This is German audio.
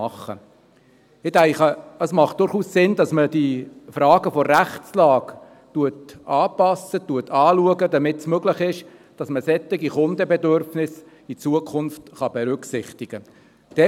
Ich denke, es macht durchaus Sinn, dass man die Fragen der Rechtslage anpasst, anschaut, damit es möglich ist, dass man solche Kundenbedürfnisse in Zukunft berücksichtigen kann.